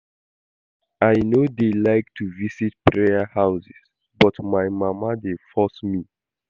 I no dey like to visit prayer houses but my mama dey force me